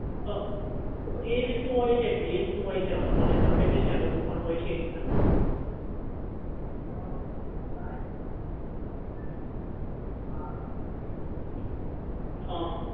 હા એ રીતનું હોય છે કે હોય છે અવે મને perfect નથી ખ્યાલ પણ એ રીતનું હોય છે કૈક હા